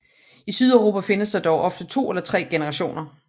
I Sydeuropa findes der dog ofte 2 eller 3 generationer